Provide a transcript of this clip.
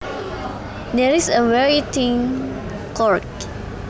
There is a very thin corgi